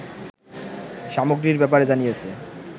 সামগ্রীর ব্যাপারে জানিয়েছে